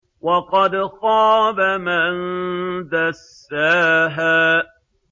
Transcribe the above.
وَقَدْ خَابَ مَن دَسَّاهَا